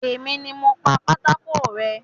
Èmi ni mo pa pátákó rẹ́